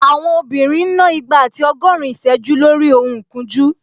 Àwọn obìnrin ń ná igba àti ọgọ́rin ìsẹ́jú lórí ohun ìkunjú